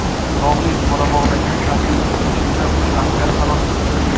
Tog‘li Qorabog‘dagi harbiy to‘qnashuvda uch askar halok bo‘ldi.